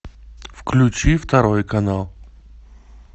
включи второй канал